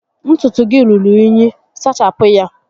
Ntutu gị rúrú únyí, sachapụ ya!